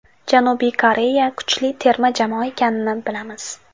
Janubiy Koreya kuchli terma jamoa ekanini bilamiz.